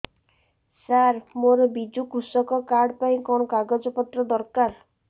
ସାର ମୋର ବିଜୁ କୃଷକ କାର୍ଡ ପାଇଁ କଣ କାଗଜ ପତ୍ର ଦରକାର